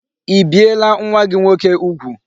I biela nwa gi nwoke ugwu?